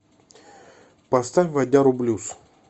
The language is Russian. поставь вадяру блюз